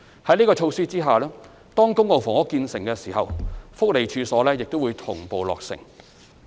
在這個措施下，當公共房屋建成時，福利處所亦會同步落成。